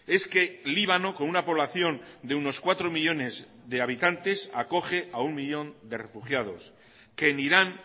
es que líbano con una población de unos cuatro millónes de habitantes acoge a uno millón de refugiados que en irán